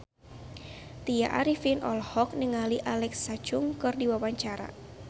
Tya Arifin olohok ningali Alexa Chung keur diwawancara